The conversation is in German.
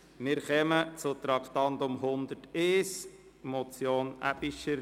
Wir kommen zum Traktandum 101, einer Motion von Grossrätin Aebischer.